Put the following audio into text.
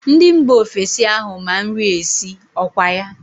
Ndị mba ofesi ahụ ma nri esi, ọkwa ya?